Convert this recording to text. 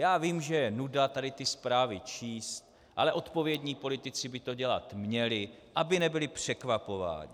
Já vím, že je nuda tady ty zprávy číst, ale odpovědní politici by to dělat měli, aby nebyli překvapováni.